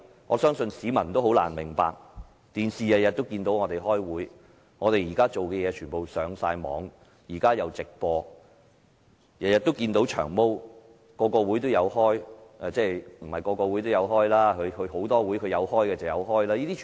我相信市民也很難明白，市民每天都能從電視上看見我們開會，我們的行為舉止正在網上直播，每天都能看見"長毛"，每個會也有出席——當然，他只出席他有參與的會議。